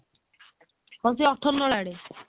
ହଁ ସେ ଅଠର ନଳା ଆଡେ